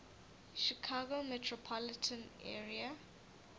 chicago metropolitan area